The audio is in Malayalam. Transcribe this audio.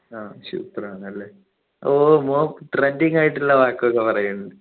ആഹ് super ആണ് ല്ലേ ഓ ഓൻ trending ആയിട്ടുള്ള വാക്കുക്കെ പറയുന്നു